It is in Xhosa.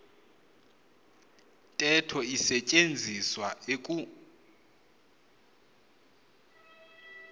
ntetho isetyenziswa eku